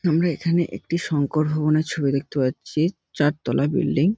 আমরা এখানে একটি শংকর ভবনের ছবি দেখতে পাচ্ছি চার তলা বিল্ডিং ।